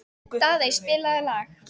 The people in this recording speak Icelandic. Daðey, spilaðu lag.